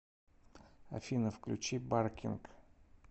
афина включи баркинг